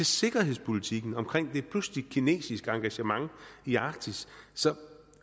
sikkerhedspolitikken med et pludseligt kinesisk engagement i arktis så